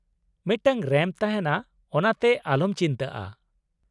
ᱢᱤᱫᱴᱟᱝ ᱨᱮᱢᱯ ᱛᱟᱦᱮᱱᱟ, ᱚᱱᱟᱛᱮ ᱟᱞᱚᱢ ᱪᱤᱱᱛᱟᱹᱜᱼᱟ ᱾